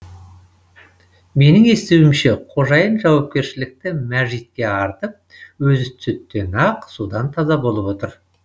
менің естуімше қожайын жауапкершілікті мәжитке артып өзі сүттен ақ судан таза болып отыр